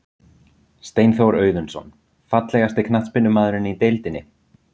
Steinþór Auðunsson Fallegasti knattspyrnumaðurinn í deildinni?